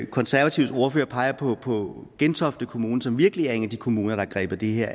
konservatives ordfører peger på på gentofte kommune som virkelig er en af de kommuner der griber det her